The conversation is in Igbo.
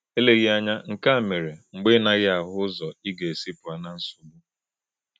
Eleghị anya, nke a mere mgbe ị naghị ahụ ụzọ ị ga-esi pụọ na nsogbu.